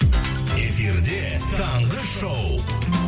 эфирде таңғы шоу